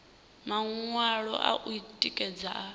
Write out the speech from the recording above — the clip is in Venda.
maṅwalo a u tikedza a